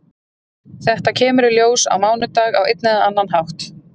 Þetta kemur í ljós á mánudag á einn eða annan hátt.